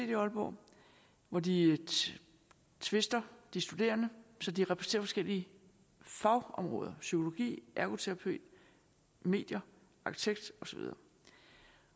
i aalborg hvor de tvister de studerende så de repræsenterer forskellige fagområder psykologi ergoterapi medier arkitekt og så videre